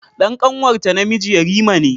Dan ƙanwarta namiji yarima ne.